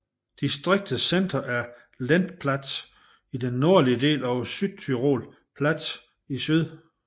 Distriktets centre er Lendplatz i den nordlige del og Südtiroler Platz i syd